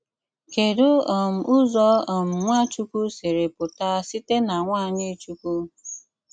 Kèdù um Ụ̀zọ um Nwáchúkwú sìrì pụta sị̀té na nwanyi Chukwu?